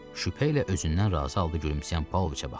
Şübhəylə özündən razı halda gülümsəyən Pauloviçə baxdı.